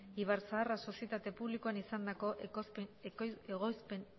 ibarzaharra sozietate publikoan izandako